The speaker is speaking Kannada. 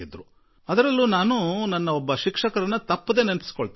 ಆದರೆ ಇಂದಿಗೂ ನನಗೆ ಪ್ರತಿ ತಿಂಗಳು ನನ್ನ ಒಬ್ಬ ಶಿಕ್ಷಕರಿಂದ ನನಗೆ ಪತ್ರ ಬರುತ್ತದೆ